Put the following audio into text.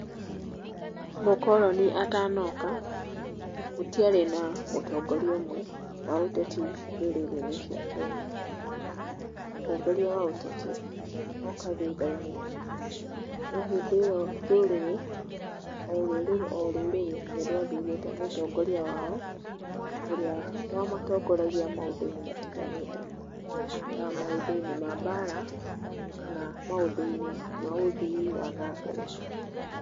Mũkoroni atanoka, gũtiarĩ na mũtongoria ũmwe wa ũteti ndũrĩrĩ-inĩ cia Kenya, mũtongoria wa ũteti oka thutha-inĩ, no hĩndĩ ĩyo ndũrĩrĩ, o rũrĩrĩ o rũrĩrĩ nĩrwathurĩte mũtongoria wao, ũrĩa wamatongoragia maũndũ-inĩ matiganĩte ta maũndũ-inĩ ma mbara, kana maũndũ-inĩ ma ũthii wa na mbere.